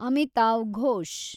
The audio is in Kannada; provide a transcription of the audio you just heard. ಅಮಿತಾವ್ ಘೋಷ್